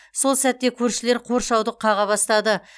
сол сәтте көршілер қоршауды қаға бастады